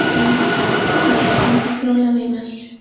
Endi qaytib bu xatolarni takrorlamayman.